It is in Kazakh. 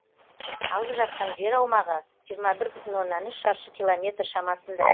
алып жатқан жер аумағы жиырма бір бүтін оннан үш шаршы километр шамасында